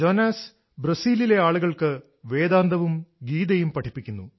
John ബ്രസീലിലെ ആളുകൾക്ക് വേദാന്തവും ഗീതയും പഠിപ്പിക്കുന്നു